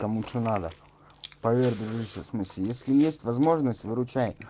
кому че надо поверь дружище в смысле если есть возможность выручай